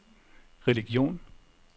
religion